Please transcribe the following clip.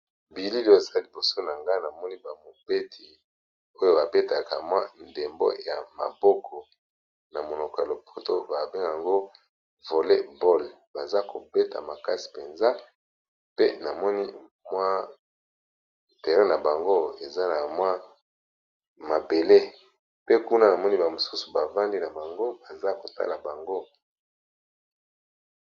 Bililo eza liboso na nga na moni ba mobeti oyo babetaka mwa ndembo ya maboko na monoko ya lopoto babe yango voley bolle, baza kobeta makasi mpenza pe na moni mwa terrin na bango eza na mwa mabele, pe kuna na moni ba mosusu bavandi na bango baza kotala bango.